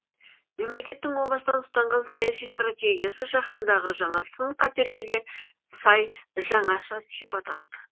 мемлекетің о бастан ұстанған саяси стратегиясы жаһандағы жаңа сын қатерлерге сай жаңаша сипат алды